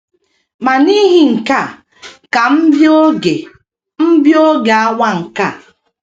Ma n’ihi nke a ka M bịa oge M bịa oge awa nke a.